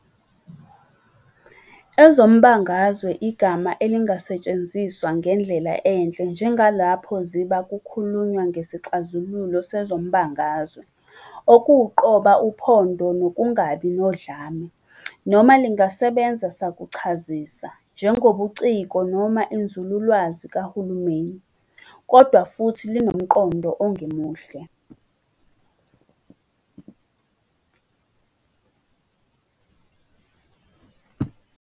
Ezombangazwe igama elingasetshenziswa ngendlela enhle njengalapho ziba kukhulunywa "ngesixazululo sezombangazwe" okuwuqoba uphondo nokungabi nodlame, noma lingasebenza sakuchazisa "njengobuciko noma inzululwazi kahulumeni", kodwa futhi linomqondo ongemuhle.